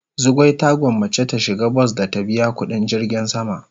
Zugwai ta gwanmace ta shiga bas da ta biya kudin jirgin sama.